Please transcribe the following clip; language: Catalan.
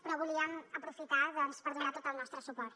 però volíem aprofitar doncs per donar tot el nostre suport